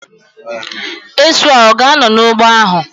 Esu a ga-anọ n'ụgbọ ahu?